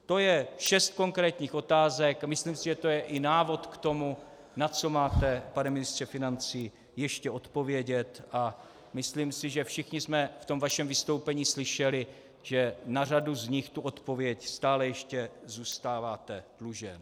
To je šest konkrétních otázek a myslím si, že to je i návod k tomu, na co máte, pane ministře financí, ještě odpovědět, a myslím si, že všichni jsme v tom vašem vystoupení slyšeli, že na řadu z nich tu odpověď stále ještě zůstáváte dlužen.